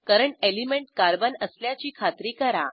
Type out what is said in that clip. current element carbon असल्याची खात्री करा